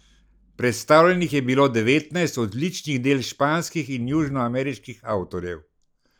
Predstavljenih je bilo devetnajst odličnih del španskih in južnoameriških avtorjev.